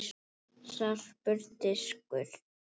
Sarpur- Diskur.